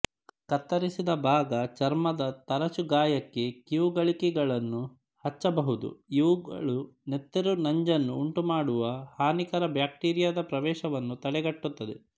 ಕತ್ತರಿಸಿದ ಭಾಗ ಚರ್ಮದ ತರಚುಗಾಯಕ್ಕೆ ಕೀವುಗಳೆಕಗಳನ್ನು ಹಚ್ಚಬಹುದು ಇವುಗಳು ನೆತ್ತರುನಂಜನ್ನು ಉಂಟುಮಾಡುವ ಹಾನಿಕರ ಬ್ಯಾಕ್ಟೀರಿಯದ ಪ್ರವೇಶವನ್ನು ತಡೆಗಟ್ಟುತ್ತದೆ